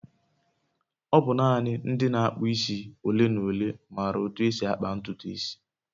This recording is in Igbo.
ọ bụ nanị ndị na-akpụ isi ole na ole maara otú e si akpa ntutu isi